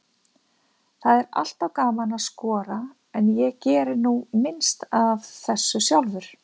Það er alltaf gaman að skora, en ég geri nú minnst af þessu sjálfur.